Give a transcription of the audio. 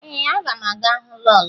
Ee, aga m aga hụ lọọlọ